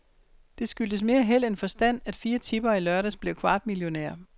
Det skyldtes mere held end forstand, at fire tippere i lørdags blev kvartmillionærer.